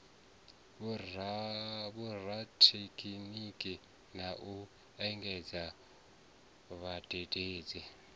vhorathekhiniki na u engedzadza vhadededzi